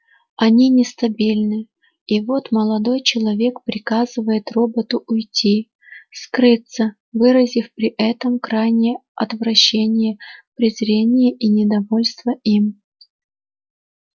они нестабильны и вот молодой человек приказывает роботу уйти скрыться выразив при этом крайнее отвращение презрение и недовольство им